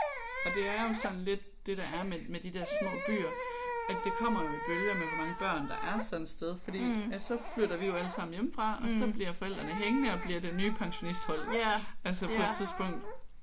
Og det er jo sådan lidt det det er med med de der små byer at det kommer jo i bølger med hvor mange børn der er sådan et sted fordi at så flytter vi jo alle sammen hjemmefra og så bliver forældrene hængende og bliver det nye pensionisthold altså på et tidspunkt